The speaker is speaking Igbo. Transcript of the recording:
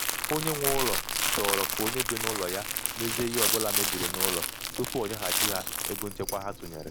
onye nwe ụlọ chọrọ um ka um onye um bi n'ụlọ ya mezie ihe ọbụla mebiri n'ụlọ tupu o nyeghachi ha ego nchekwa ha tụnyere.